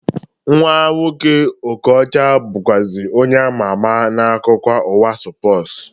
Nwa nwoke Okọcha bụzikwa onye ama ama n'akụkọ ụwa spọsu